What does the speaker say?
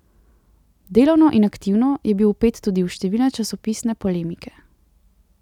Delovno in aktivno je bil vpet tudi v številne časopisne polemike.